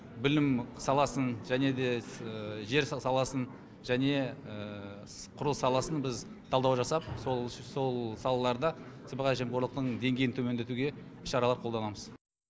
білім саласын және де жер саласын және құрылыс саласын біз талдау жасап сол сол салаларда жемқорлықтың деңгейін төмендетуге іс шаралар қолданамыз